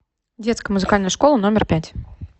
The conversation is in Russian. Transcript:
детская музыкальная школа номер пять